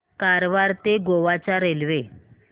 कारवार ते गोवा च्या रेल्वे